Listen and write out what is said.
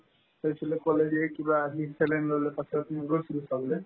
কৈছিলো কলেজে কিবা আজি saline ল'লো তাৰপাছত আমি গৈছিলো চাবলে